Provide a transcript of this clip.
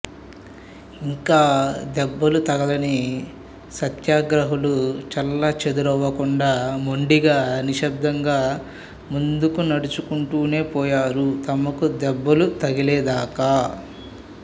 ఇంకా దెబ్బలు తగలని సత్యాగ్రహులు చెల్లాచెదురవకుండా మొండిగా నిశ్శబ్దంగా ముందుకు నడుచుకుంటూనే పోయారు తమకూ దెబ్బలు తగిలేదాకా